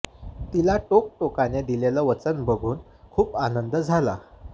तिला टोक टोकने दिलेलं वचन बघून खूप आनंद झाला